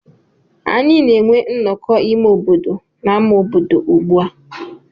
Anyị na-enwe nnọkọ ime obodo n'ámá obodo ugbu a.